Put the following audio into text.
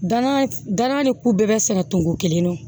Danaya da ni ko bɛɛ bɛ sɛnɛ tugu kelen na